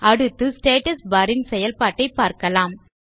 அடுத்து status bar ன் செயல்பாட்டை பார்க்கலாம்